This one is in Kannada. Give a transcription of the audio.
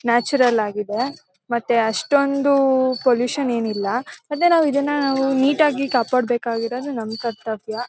ನ್ಯಾಚುರಲ್ ಆಗಿದೆ ಮತ್ತೆ ಅಷ್ಟೊಂದು ಪೊಲ್ಯೂಷನ್ ಏನಿಲ್ಲ ಮತ್ತೆ ನಾವು ಇದನ್ನ ನೀಟ್ ಆಗಿ ಕಾಪಾಡಬೇಕಾಗಿರೋದು ನಮ್ಮ್ ಕರ್ತವ್ಯ.